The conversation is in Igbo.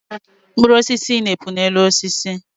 Mkpụrụ osisi na-epu na-elu osisi